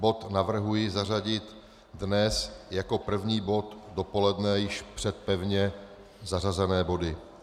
Bod navrhuji zařadit dnes jako první bod dopoledne již před pevně zařazené body.